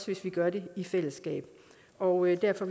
hvis vi gør det i fællesskab og derfor